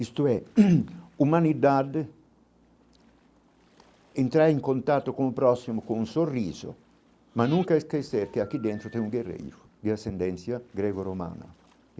Isto é, humanidade entra em contato com o próximo com um sorriso, mas nunca esquecer que aqui dentro tem um guerreiro de ascendência greco-romana.